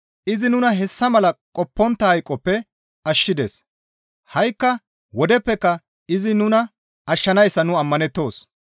Izi nuna hessa mala qoppontta hayqoppe ashshides; ha7ikka wodeppeka izi nuna ashshanayssa nu ammanettoos.